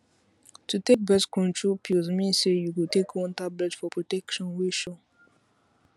to take birth control pills mean say you go take one tablet for protection wey sure